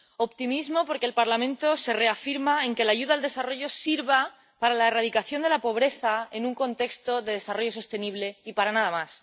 Optimismo, porque el Parlamento se reafirma en que la ayuda al desarrollo sirva para la erradicación de la pobreza en un contexto de desarrollo sostenible y para nada más